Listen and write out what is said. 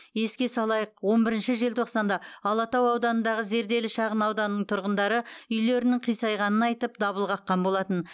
еске салайық он бірінші желтоқсанда алатау ауданындағы зерделі шағын ауданының тұрғындары үйлерінің қисайғанын айтып дабыл қаққан болатын